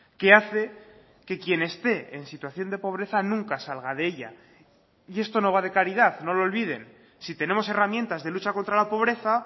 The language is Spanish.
que hace que quien esté en situación de pobreza nunca salga de ella y esto no va de caridad no lo olviden si tenemos herramientas de lucha contra la pobreza